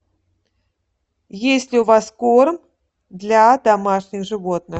есть ли у вас корм для домашних животных